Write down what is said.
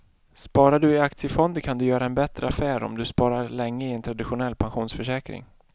Sparar du i aktiefonder kan du göra en bättre affär än om du sparar länge i en traditionell pensionsförsäkring.